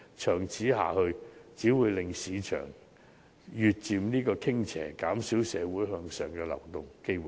長此下去，只會令市場越趨傾斜，減少社會向上流動的機會。